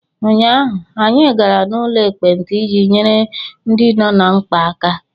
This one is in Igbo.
Ụnyaahụ, anyị gara n'ụlọ ekpenta iji nyere ndị nọ ná mkpa aka.